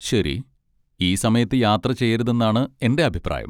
ശരി. ഈ സമയത്ത് യാത്ര ചെയ്യരുതെന്നാണ് എന്റെ അഭിപ്രായം.